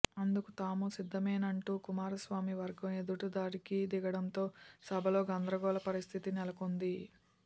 అందుకు తాము సిద్ధమేనంటూ కుమారస్వామి వర్గం ఎదురుదాడికి దిగడంతో సభలో గందరగోళ పరిస్థితి నెలకొంది